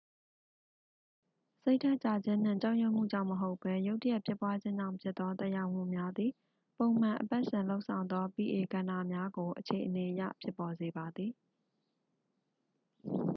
စိတ်ဓာတ်ကျခြင်းနှင့် ကြောက်ရွံ့မှုကြောင့်မဟုတ်ဘဲ ရုတ်တရက်ဖြစ်ပွားခြင်းကြောင့်ဖြစ်သော သက်ရောက်မှုများသည် ပုံမှန်အပတ်စဉ်လုပ်ဆောင်သော pa ကဏ္ဍများကို အခြေအနေအရ ဖြစ်ပေါ်စေပါသည်